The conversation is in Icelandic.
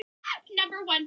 Fátt mun vera í fari hans